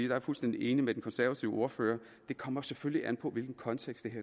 jeg er fuldstændig enig med den konservative ordfører det kommer selvfølgelig an på i hvilken kontekst